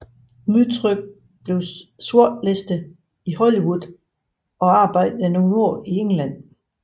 Dmytryk blev sortlistet i Hollywood og arbejdede nogle år i England